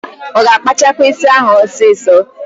Ọ ga-akpachakwa ísí ahụ ọsịsọ?